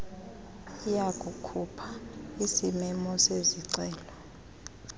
iyakukhupha isimemo sezicelo